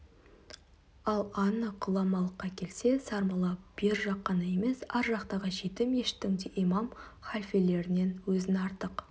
ал анық ғұламалыққа келсе сармолла бер жақ қана емес ар жақтағы жеті мешіттің де имам халфелерінен өзін артық